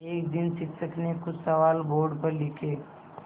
एक दिन शिक्षक ने कुछ सवाल बोर्ड पर लिखे